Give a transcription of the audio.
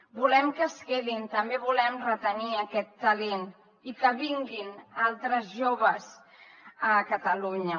volem que es quedin volem retenir aquest talent i que vinguin altres joves a catalunya